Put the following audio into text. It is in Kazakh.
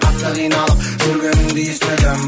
қатты қиналып жүргеніңді естідім